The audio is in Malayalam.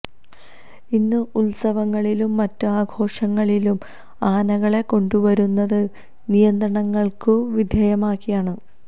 ഇന്ന് ഉത്സവങ്ങളിലും മറ്റ് ആഘോഷങ്ങളിലും ആനകളെ കൊണ്ടു വരുന്നത് നിയന്ത്രണങ്ങള്ക്കു വിധേയമാക്കിയാണ്